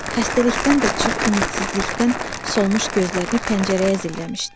Xəstəlikdən də çox ümidsizlikdən solmuş gözlərini pəncərəyə zilləmişdi.